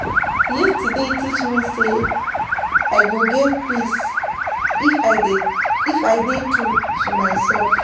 Yesterday teach me say, I go get peace if I dey true to myself.